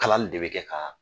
Kalali de bɛ kɛ ka